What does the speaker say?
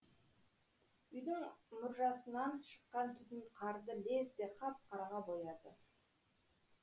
үйдің мұржасынан шыққан түтін қарды лезде қап қараға бояды